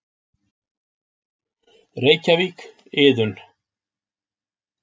Reykjavík, Iðunn.